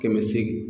Kɛmɛ seegin